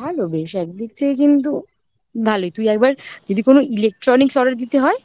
ভালো বেশ একদিক থেকে কিন্তু ভালোই তুই একবার যদি কোন electronics order দিতে হয়